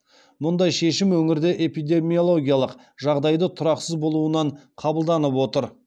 мұндай шешім өңірде эпидемиологиялық жағдайды тұрақсыз болуынан қабылданып отыр